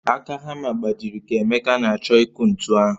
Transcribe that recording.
Aka hamma gbajịrị ka emeka na-achọ ịkụ ntu ahụ